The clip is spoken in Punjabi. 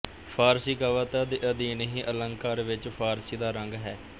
ਫ਼ਾਰਸੀ ਕਵਿਤਾ ਦੇ ਅਧੀਨ ਹੀ ਅੰਲਕਾਰ ਵਿੱਚ ਫ਼ਾਰਸੀ ਦਾ ਰੰਗ ਹੈ